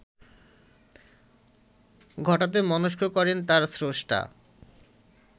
ঘটাতে মনস্থ করেন তাঁর স্রষ্টা